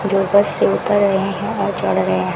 जो बस से उतर रहे हैं और चढ़ रहे--